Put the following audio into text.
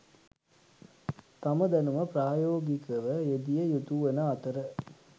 තම දැනුම ප්‍රායෝගිකව යෙදිය යුතුවන අතර